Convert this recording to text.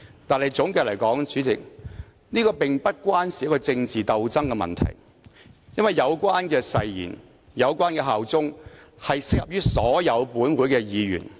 不過，總的來說，主席，這並不涉及政治鬥爭的問題，因為有關誓言和效忠的條文適用於本會所有議員。